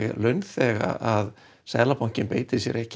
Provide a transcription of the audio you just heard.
launþega að Seðlabankinn beiti sér ekki